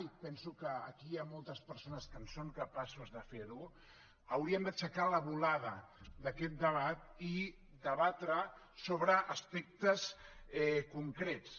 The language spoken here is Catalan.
i penso que aquí hi ha moltes persones que en són capaces de fer ho hauríem d’aixecar la volada d’aquest debat i debatre sobre aspectes concrets